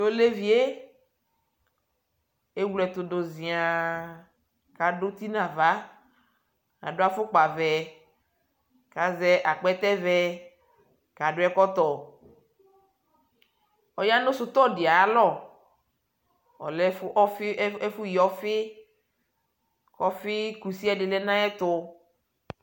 Tolevie ewleɛtudu ʒiaaŋ kadu uti nava kadu afukpa vɛ kaʒɛ akpɛtɛ vɛ kadu ɛkɔtɔ Ɔya nu sutɔdi ayalɔ, ɔlɛ ɛfu yiɔfi kɔfi kusie ɛdi lɛ nayɛtu